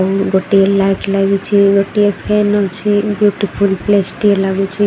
ଗୋଟିଏ ଲାଇଟ୍ ଲାଗିଛି ଗୋଟିଏ ଫ୍ୟାନ ଅଛି ବିଉଟିଫୁଲ୍ ପ୍ଲେସ୍ ଟିଏ ଲାଗୁଚି।